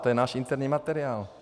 To je náš interní materiál.